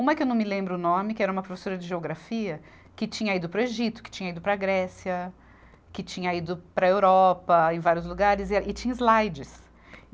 Uma que eu não me lembro o nome, que era uma professora de geografia que tinha ido para o Egito, que tinha ido para a Grécia, que tinha ido para a Europa, em vários lugares, e tinha slides.